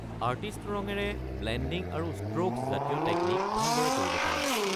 Artist ৰঙেৰে blending আৰু strokes জাতীয় টেকনিক ভালদৰে কৰিব পাৰি।